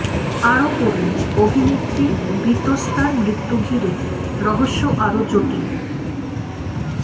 আরও পড়ুন অভিনেত্রী বিতস্তার মৃত্যু ঘিরে রহস্য আরও জটিল